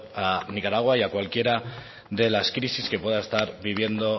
a nicaragua y a cualquiera de las crisis que pueda estar viviendo